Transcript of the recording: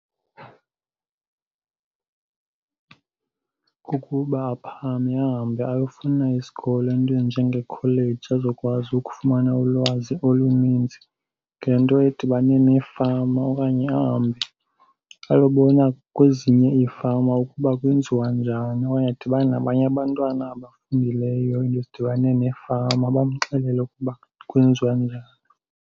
Kukuba aphakame ahambe ayofuna isikolo, iinto ezinjengeekholeji azokwazi ukufumana ulwazi oluninzi ngento edibane neefama. Okanye ahambe ayobona kwezinye iifama ukuba kwenziwa njani. Okanye adibane nabanye abantwana abafundileyo iinto ezidibane neefama bamxelele ukuba kwenziwa njani.